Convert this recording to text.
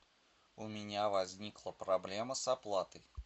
у меня возникла проблема с оплатой